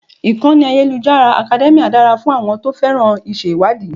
Ìkànnì ayélujára Academia dára fún àwọn tó féràn iṣẹ́ ìwádìí.